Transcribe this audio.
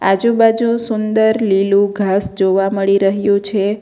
આજુબાજુ સુંદર લીલું ઘાસ જોવા મળી રહ્યો છે.